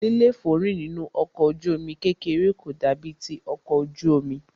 líléfòórìn nínú ọkọ̀ ojú omi kékeré kò dàbí ti ọkọ̀ ojú omi.